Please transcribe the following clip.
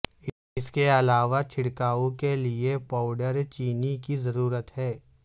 اس کے علاوہ چھڑکاو کے لئے پاوڈر چینی کی ضرورت ہے